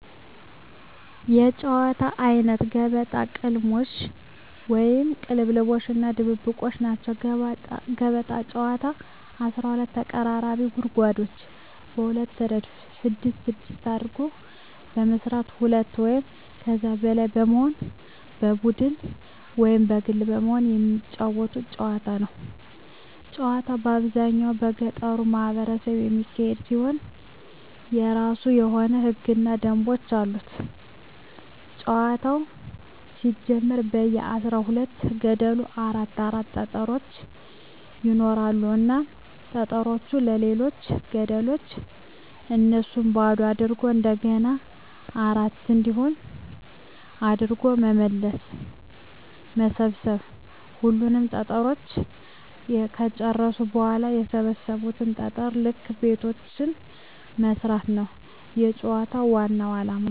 የጨዋታወች አይነት ገበጣ፣ ቅልሞሽ(ቅልልቦሽ) እና ድብብቆሽ ናቸዉ። ገበጣ ጨዋታ 12 ተቀራራቢ ጉድጓዶችን በሁለት እረድፍ ስድስት ስድስት አድርጎ በመስራት ሁለት ወይም ከዚያ በላይ በመሆን በቡድን ወይም በግል በመሆን የመጫወቱት ጨዋታ ነዉ። ጨዋታዉ በአብዛኛዉ በገጠሩ ማህበረሰብ የሚካሄድ ሲሆን የእራሱ የሆኑ ህገ ደንቦችም አሉት ጨዋታዉ ሲጀመር በየ አስራ ሁለት ገደሉ አራት አራት ጠጠሮች ይኖራሉ እናም ጠጠሮችን በሌሎች ገደሎች እያነሱ ባዶ አድርጎ እንደገና አራት እንዲሆን አድርጎ በመሰብ ሰብ ሁሉንም ጠጠሮች ከጨረሱ በኋላ በሰበሰቡት ጠጠር ልክ ቤቶችን መስፋት ነዉ የጨዋታዉ ዋናዉ አላማ።